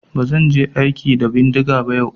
Ba zan je aiki da bindiga ba yau.